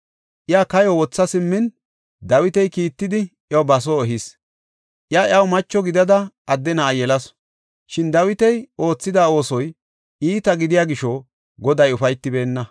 Iya kayo wotha simmin, Dawiti kiittidi iyo ba soo ehis. Iya iyaw macho gidada adde na7a yelasu. Shin Dawiti oothida oosoy iita gidiya gisho Goday ufaytibeenna.